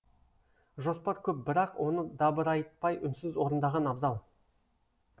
жоспар көп бірақ оны дабырайтпай үнсіз орындаған абзал